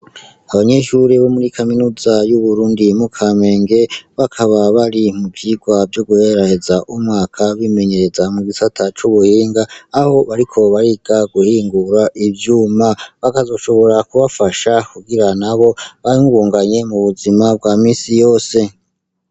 abanyeshuri bo muri kaminuza y'uburundi mu kamenge bakaba bari mu vyigwa vyo guheraheza umwaka bimenyereza mu gisata c'ubuhinga aho bariko bariga guhingura ivyuma bakazoshobora kubafasha kugira na bo bamubunganye mu buzima bwa misi yose